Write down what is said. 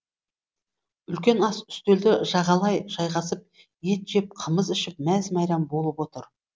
үлкен ас үстелді жағалай жайғасып ет жеп қымыз ішіп мәз мәйрам болып отыр